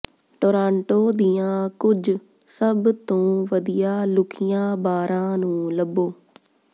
Toronto ਦੀਆਂ ਕੁਝ ਸਭ ਤੋਂ ਵਧੀਆ ਲੁਕੀਆਂ ਬਾਰਾਂ ਨੂੰ ਲੱਭੋ